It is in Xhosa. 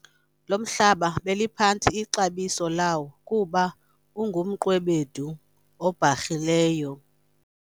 lo mhlaba beliphantsi ixabiso lawo kuba ungumqwebedu obharhileyo